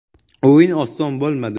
“O‘yin oson bo‘lmadi.